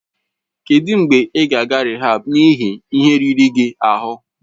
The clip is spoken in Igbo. Kedụ mgbe ị ga-aga rịhaab n'ihi ihe riri gị ahụ?